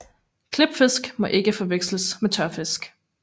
Klipfisk må ikke forveksles med tørfisk